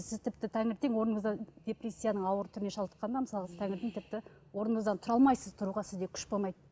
сіз тіпті таңертең орныңыздан депрессияның ауыр түріне шалдыққаннан мысалы сіз таңертең тіпті орныңыздан тұра алмайсыз тұруға сізде күш болмайды